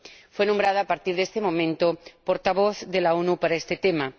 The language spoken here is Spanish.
Fue nombrada, a partir de ese momento, portavoz de la ONU para este tema.